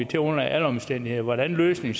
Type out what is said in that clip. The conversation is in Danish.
til under alle omstændigheder hvordan løsningen